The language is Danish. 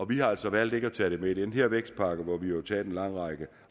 vi har altså valgt ikke at tage det med i den her vækstpakke hvor vi jo har taget en lang række